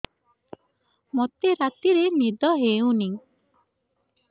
ମୋତେ ରାତିରେ ନିଦ ହେଉନି